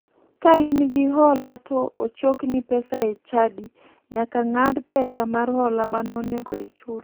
Ka in gi hola to ochokni pesa e chadi, nyaka ng'ad pesa mar hola mane onego ichul.